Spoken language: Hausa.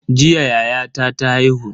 Jiya yayata ta haihu.